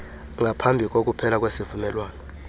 ngaphambi kokuphela kwesivumelwano